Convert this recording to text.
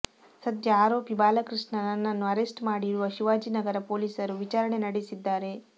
ಸದ್ಯ ಅರೋಪಿ ಬಾಲಕೃಷ್ಣ ನನ್ನು ಅರೆಸ್ಟ್ ಮಾಡಿರುವ ಶಿವಾಜಿನಗರ ಪೊಲೀಸರು ವಿಚಾರಣೆ ನಡೆಸಿದ್ದಾರೆ